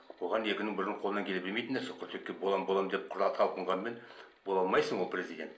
оған екінің бірінің қолынан келе бермейтін нәрсе боламын боламын деп талпынғанмен бола алмайсың ол президент